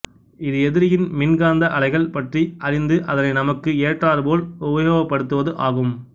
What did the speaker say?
இது எதிரியின் மின்காந்த அலைகள் பற்றி அறிந்து அதனை நமக்கு ஏற்றாற்போல் உபயோகபடுத்துவது ஆகும்